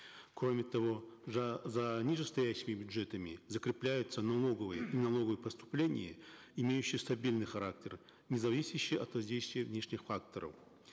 кроме того за нижестоящими бюджетами закрепляются налоговые и налоговые поступления имеющие стабильный характер не зависящий от воздействия внешних факторов